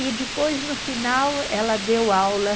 E depois, no final, ela deu aula.